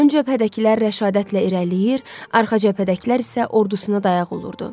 Ön cəbhədəkilər rəşadətlə irəliləyir, arxa cəbhədəkilər isə ordusuna dayaq olurdu.